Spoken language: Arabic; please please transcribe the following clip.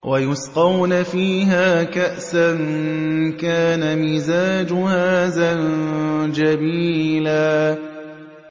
وَيُسْقَوْنَ فِيهَا كَأْسًا كَانَ مِزَاجُهَا زَنجَبِيلًا